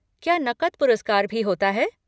क्या नक़द पुरस्कार भी होता है?